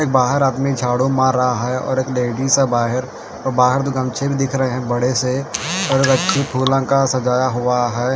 एक बाहार आदमी झाड़ू मार रहा है और एक लेडिस है बाहार और बाहर दो गमछे भी दिख रहे है बड़े और गच्ची फुलोंका सजाया हुआ है।